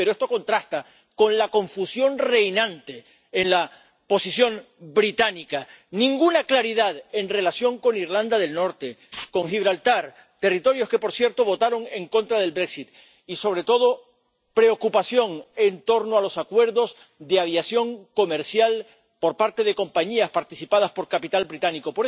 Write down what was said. Pero esto contrasta con la confusión reinante en la posición británica ninguna claridad en relación con Irlanda del Norte, con Gibraltar —territorios que, por cierto, votaron en contra del brexit— y, sobre todo, preocupación en torno a los acuerdos de aviación comercial por parte de compañías participadas por capital británico.